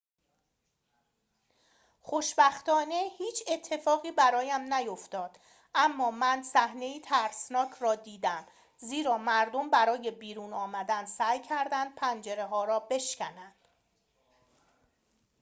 خوشبختانه هیچ اتفاقی برایم نیفتاد اما من صحنه‌ای ترسناک را دیدم زیرا مردم برای بیرون آمدن سعی کردند پنجره‌ها را بشکنند